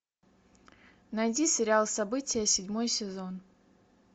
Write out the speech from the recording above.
найди сериал события седьмой сезон